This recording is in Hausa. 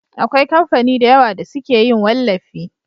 Akwai kamfani da yawa da suke yin wallafi